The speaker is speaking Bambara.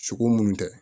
Sogo munnu tɛ